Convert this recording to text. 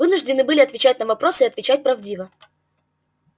вынуждены были отвечать на вопросы и отвечать правдиво